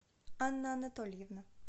анна анатольевна